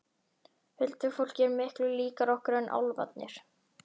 Huldufólkið er miklu líkara okkur en álfarnir.